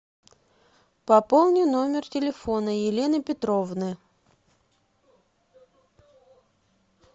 пополни номер телефона елены петровны